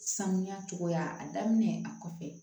Sanuya cogoya a daminɛ a kɔfɛ